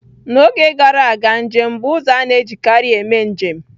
N'oge gara aga, njem bụ ụzọ a na-ejikarị eme njem